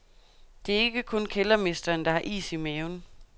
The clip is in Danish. Det er ikke kun kældermesteren, der har is i maven.